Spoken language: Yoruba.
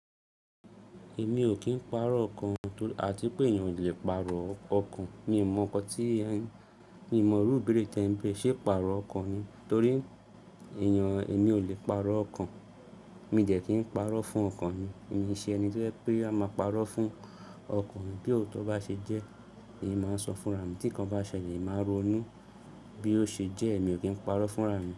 Èmi ò kí ń pàrọ̀ okàn àti pé èèyàn ò lè pàrọ̀ ọkàn. Mi ò mọ̀ inkan tí ẹ ń beere mi ò iru ìbéèrè tí ẹ ń béèrè. Ṣé pàrọ̀ ọkàn ni? Torí èèyàn, èmi ò lè pàrọ̀ ọkàn. Mi dẹ̀ kí ń pàrọ̀ fún ọkàn mi. Èmi ń ṣe ẹni tí ẹ pé a máa pàrọ̀ fún ọkàn bí òótọ́ bá ṣe jẹ́, èmi máa sọ fún rà mi tí nǹkan bá ṣẹlẹ̀, èmi máa ronú bí ó ṣe jẹ́ èmi ò kí ń pàrọ̀ fún rà mi.